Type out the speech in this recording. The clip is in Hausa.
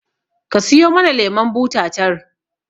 Ka siyo mana lemon buta tar